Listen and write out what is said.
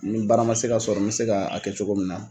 Ni bara man se ka sɔrɔ n bɛ se ka kɛ cogo min na.